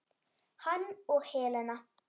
Hann og Helena.